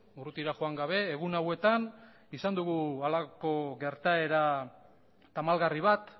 urrutira joan gabe egun hauetan izan dugu halako gertaera tamalgarri bat